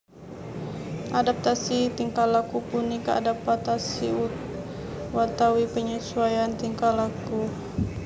Adaptasi tingkah laku punika adapatasi uatawi penyesuaian tingkah laku